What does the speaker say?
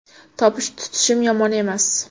Topish-tutishim yomon emas.